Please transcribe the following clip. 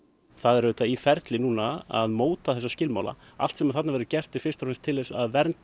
það er auðvitað í ferli núna að móta þessa skilmála allt sem þarna verður gert er til þess að vernda